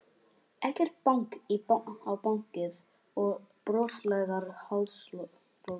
Ekkert bank á bakið og broslegar háðsglósur.